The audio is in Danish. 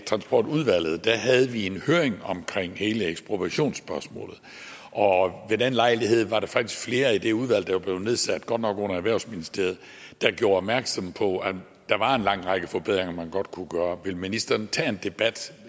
transportudvalget havde vi en høring om hele ekspropriationsspørgsmålet og ved den lejlighed var der faktisk flere i det udvalg der var blevet nedsat godt nok under erhvervsministeriet der gjorde opmærksom på at der var en lang række forbedringer man godt kunne gøre vil ministeren tage en debat